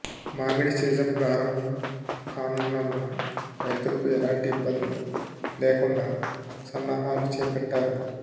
మామిడి సీజన్ ప్రారంభం కానున్నందున రైతులకు ఎలాంటి ఇబ్బందులు లేకుండా సన్నాహాలు చేపట్టారు